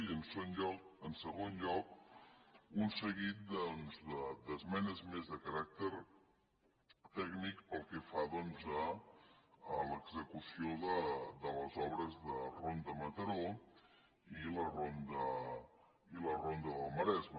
i en segon lloc un seguit d’esmenes més de caràcter tècnic pel que fa a l’execució de les obres de ronda mataró i la ronda del maresme